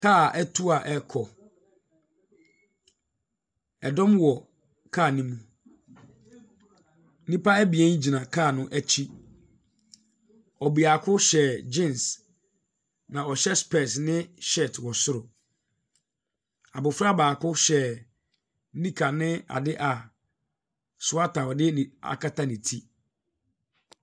Kaa atu a ɛrekɔ, ɛdɔm wɔ kaa ne mu. Nnipa abien gyina kaa no akyi, ɔbeako hyɛ jeans, na ɔhyɛ spɛɛse ne shirt wɔ soro. Abɔfra baako hyɛ nika ne ade a sweater a ɔde ɛbi akata ne ti.